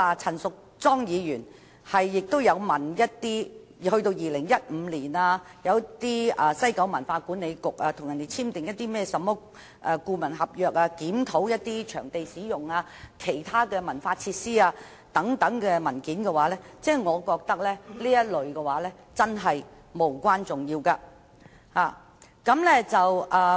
陳議員亦索取一些遠至2015年西九管理局所簽訂的顧問合約、有關檢討場地使用、其他文化設施等的文件，我覺得都是無關重要。